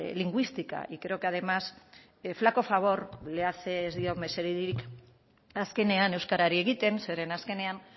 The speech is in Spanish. lingüística y creo que además flaco favor le hace ez dio mesederik azkenean euskarari egiten zeren azkenean